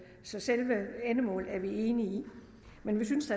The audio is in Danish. så selve endemålet er vi enige i men vi synes